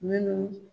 Minnu